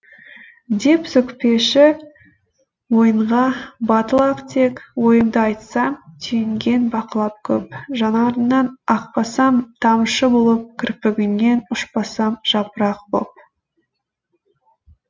деп сөкпеші ойынға батыл ақ тек ойымды айтсам түйінген бақылап көп жанарыңнан ақпасам тамшы болып кірпігіңнен ұшпасам жапырақ боп